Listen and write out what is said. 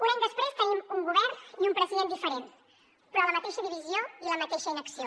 un any després tenim un govern i un president diferents però la mateixa divisió i la mateixa inacció